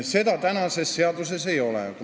Seda praegu seaduses ei ole.